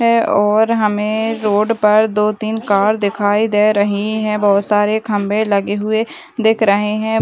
है और हमे रोड पर दो तीन कार दिखाई दे रही है बहुत सारे खम्भे लगे हुए दिख रहे हैं |